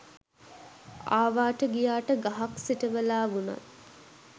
ආවාට ගියාට ගහක් සිටවලා වුණත්